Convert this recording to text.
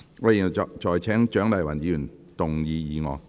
我現在請蔣麗芸議員動議議案。